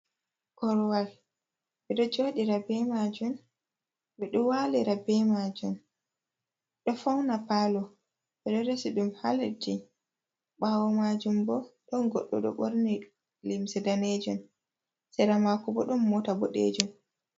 Korwal ɓe ɗo jooɗiira be maajum, ɓe ɗo walira be majum, do fauna paalo ɓe ɗo resi ɗum haa leddi, ɓaawo majum bo ɗon goɗɗo ɗo borni limse danejum, sera maako bo ɗon mota boɗejum.